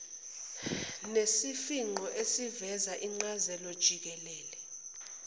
nesifingqo esiveza incazelojikelele